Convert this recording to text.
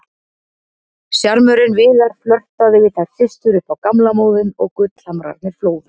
Sjarmörinn Viðar, flörtaði við þær systur upp á gamla móðinn og gullhamrarnir flóðu.